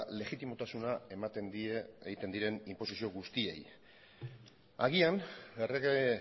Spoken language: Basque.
legitimotasuna ematen die egiten diren inposizio guztiei agian errege